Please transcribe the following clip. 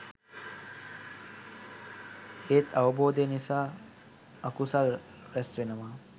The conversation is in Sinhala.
ඒත් අවබෝධය නිසා අකුසල් ‍රැස් වෙනවා